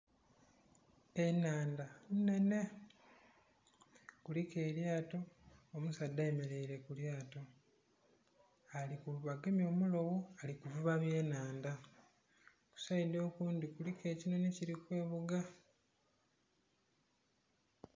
Ennhandha nhenhe kuliku elyato, omusaadha ayemeleire ku lyato, ali kuvuba, agemye omulogho ali kuvuba byenhanda. Ku sayidi okundhi kuliku ekinhonhi kili kweghuga.